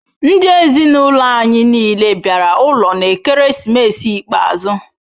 Ndi ezinaụlọ anyị niile bịara ụlọ n'ekeresimesi ikpeazụ.